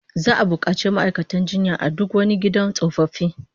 Za'a bukaci ma'aikatan jinya a duk wani gidan tsofaffi